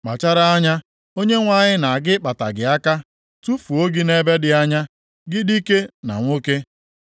“Kpachara anya, Onyenwe anyị na-aga ịkpata gị aka, tufuo gị nʼebe dị anya, gị dike na nwoke.